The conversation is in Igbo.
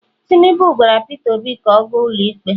tinubu gwara Pete obi ka o gas ụlọ ikpe